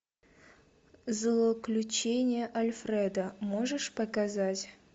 злоключения альфреда можешь показать